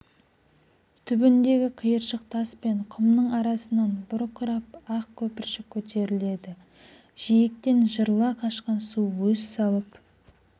түбіндегі қиыршық тас пен құмның арасынан бұрқырап ақ көпіршік көтеріледі жиектен жырыла қашқан су өз салып